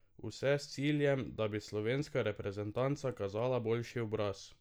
Vse s ciljem, da bi slovenska reprezentanca kazala boljši obraz.